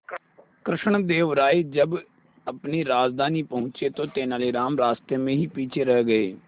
कृष्णदेव राय जब अपनी राजधानी पहुंचे तो तेलानीराम रास्ते में ही पीछे रह गए